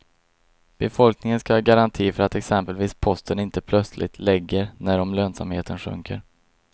Befolkningen skall ha garanti för att exempelvis posten inte plötsligt lägger när om lönsamheten sjunker.